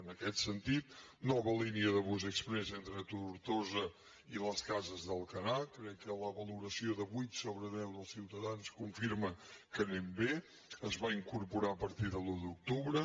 en aquest sentit nova línia de bus exprés entre tortosa i les cases d’alcanar crec que la valoració de vuit sobre deu dels ciutadans confirma que anem bé es va incorporar a partir de l’un d’octubre